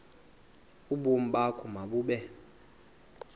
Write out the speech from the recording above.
ubomi bakho mabube